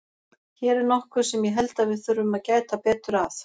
Hér er nokkuð sem ég held að við þurfum að gæta betur að.